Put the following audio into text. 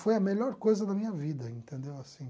Foi a melhor coisa da minha vida, entendeu? Assim